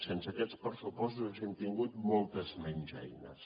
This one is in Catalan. sense aquests pressupostos haguéssim tingut moltes menys eines